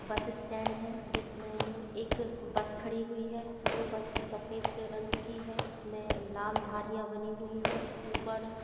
बस स्टैंड हैं जिसमें में एक बस खड़ी हुई है जो बस सफेद रंग की है जिसमें लाल धारिया बनी हुई हैंऊपर--